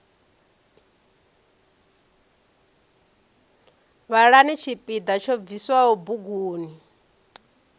vhalani tshipiḓa tsho bviswaho buguni